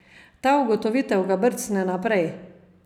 Ta ugotovitev ga brcne naprej.